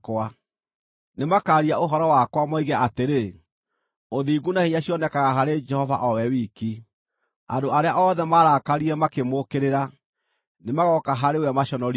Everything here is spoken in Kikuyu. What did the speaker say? Nĩmakaaria ũhoro wakwa, moige atĩrĩ, ‘Ũthingu na hinya cionekaga harĩ Jehova o we wiki.’ ” Andũ arĩa othe maarakarire makĩmũũkĩrĩra, nĩmagooka harĩ we maconorithio.